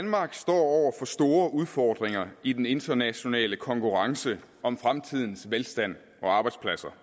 danmark står over for store udfordringer i den internationale konkurrence om fremtidens velstand og arbejdspladser